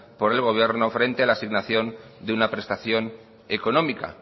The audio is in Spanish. por el gobierno frente a la asignación de una prestación económica